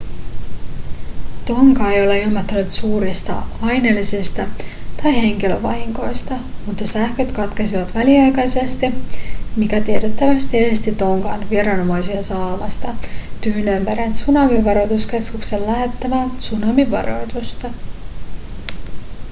tonga ei ole ilmoittanut suurista aineellisista tai henkilövahingoista mutta sähköt katkesivat väliaikaisesti mikä tiettävästi esti tongan viranomaisia saamasta tyynenmeren tsunamivaroituskeskuksen lähettämää tsunamivaroitusta